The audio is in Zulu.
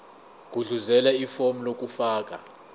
gudluzela ifomu lokufaka